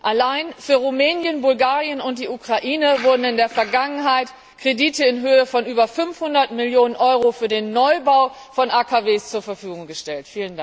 Allein für Rumänien, Bulgarien und die Ukraine wurden in der Vergangenheit Kredite in Höhe von über 500 Millionen Euro für den Neubau von AKW zur Verfügung gestellt.